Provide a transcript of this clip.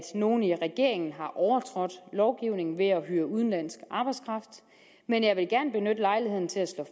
nogen i regeringen har overtrådt lovgivningen ved at hyre udenlandsk arbejdskraft men jeg vil gerne benytte lejligheden til at slå